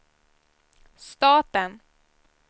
staten